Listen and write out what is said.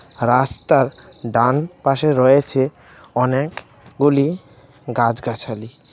রাস্তার ডানপাশে রয়েছে অনেকগুলি গাছগাছালি .